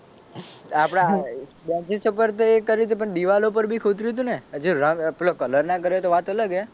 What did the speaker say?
આપડે બેનચીસ ઉપર તો એ કર્યું તું પણ દીવાલ ઉપર બી ખોતર્યું તું ને જો રંગ પેલો કલર ના કર્યો હોય તો વાત અલગ હે.